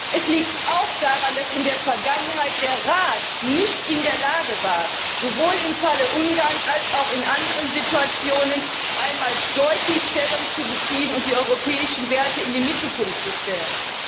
Es liegt auch daran, dass in der Vergangenheit der Rat nicht in der Lage war, sowohl im Falle Ungarns als auch in anderen Situationen einmal deutlich Stellung zu beziehen und die europäischen Werte in den Mittelpunkt zu stellen.